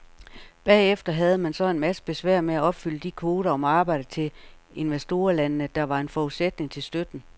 Bagefter havde man så en masse besvær med at opfylde de kvoter om arbejde til investorlandene, der var en forudsætning til støtten.